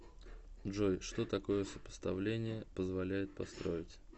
джой что такое сопоставление позволяет построить